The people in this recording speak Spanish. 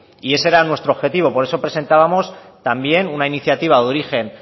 y esa era nuestro objetivo por eso presentábamos también una iniciativa de origen